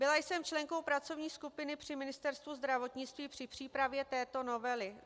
Byla jsem členkou pracovní skupiny při Ministerstvu zdravotnictví při přípravě této novely.